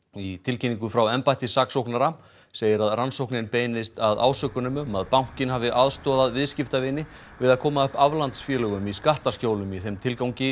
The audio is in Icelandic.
í tilkynningu frá embætti saksóknara segir að rannsókn beinist að ásökunum um að bankinn hafi aðstoðað viðskiptavini við að koma upp aflandsfélögum í skattaskjólum í þeim tilgangi